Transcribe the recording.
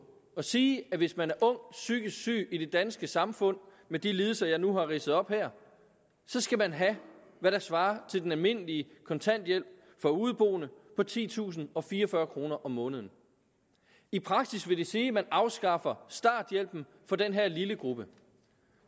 at sige at hvis man er ung psykisk syg i det danske samfund med de lidelser jeg nu har ridset op her skal man have hvad der svarer til den almindelige kontanthjælp for udeboende på titusinde og fireogfyrre kroner om måneden i praksis vil det sige at man afskaffer starthjælpen for den her lille gruppe